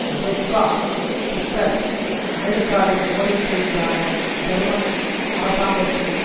Joschka Fischer அமெரிக்காவின் கோரிக்கை மீதான ஜெர்மன் அரசாங்கத்தின்